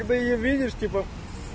и ты её видишь типа